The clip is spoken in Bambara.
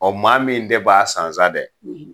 maa min de b'a san sa dɛ